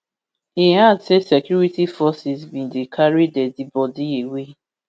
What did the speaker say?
e add say security forces bin dey carry deadi bodi away